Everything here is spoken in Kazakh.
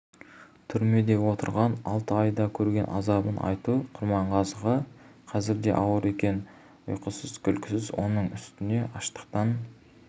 түрмеде отырған алты айда көрген азабын айту құрманғазыға қазір де ауыр екен ұйқысыз-күлкісіз оның үстіне аштықтан